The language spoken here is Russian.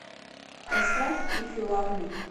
поставь иф ю лав ми